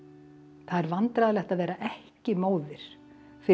það er vandræðalegt að vera ekki móðir fyrir